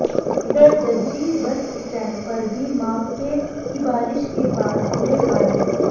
इधर Jajji bus stand पर भी मावठे की बारिश के बाद बुरे हाल हैं